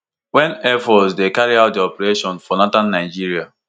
wen air force dey carry out dia operations for northern nigeria